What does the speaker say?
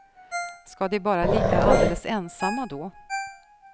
Ska de bara ligga alldeles ensamma då?